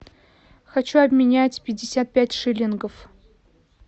хочу обменять пятьдесят пять шиллингов